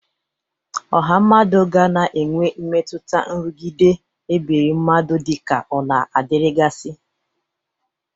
Ọha mmadụ ga na-enwe mmetụta nrụgide ebiri mmadụ dịka ọ na-adịrịgasị.